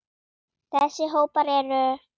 Þessa hópar eru